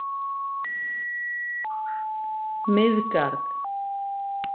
Miðgarð